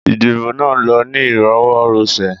Ìdìbò nà lọ ni ìrọwọ́ rọsẹ̀